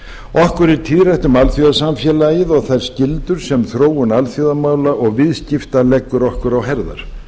okkur er tíðrætt um alþjóðasamfélagið og þær skyldur sem þróun alþjóðamála og viðskipta leggur okkur á herðar